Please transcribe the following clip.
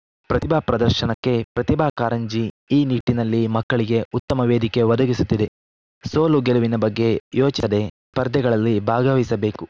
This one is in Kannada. ಪ್ರತಿಭಾ ಪ್ರದರ್ಶನಕ್ಕೆ ಪ್ರತಿಭಾ ಕಾರಂಜಿ ಈ ನಿಟ್ಟಿನಲ್ಲಿ ಮಕ್ಕಳಿಗೆ ಉತ್ತಮ ವೇದಿಕೆ ಒದಗಿಸುತ್ತಿದೆ ಸೋಲು ಗೆಲವಿನ ಬಗ್ಗೆ ಯೋಚಿಸದೆ ಸ್ಪರ್ಧೆಗಳಲ್ಲಿ ಭಾಗವಹಿಸಬೇಕು